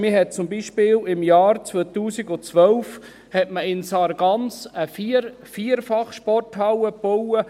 In Sargans hat man zum Beispiel im Jahr 2012 eine Vierfachsporthalle gebaut.